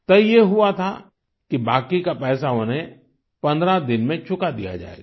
तय ये हुआ था कि बाकी का पैसा उन्हें पन्द्रह दिन में चुका दिया जायेगा